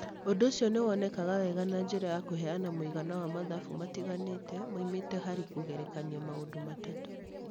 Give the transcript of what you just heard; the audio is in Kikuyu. Ũndũ ũcio nĩ wonekaga wega na njĩra ya kũheana mũigana wa mathabu matiganĩte moimĩte harĩ kũgerekania maũndũ matatũ.